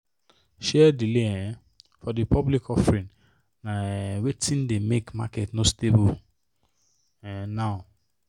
share delay um for the public offering na um wetin dey make market no stable um now.